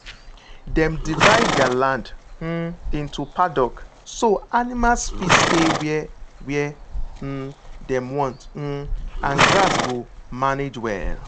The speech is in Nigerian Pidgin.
dem divide their land um into paddock so animals fit stay where where um dem want um and grass go manage well.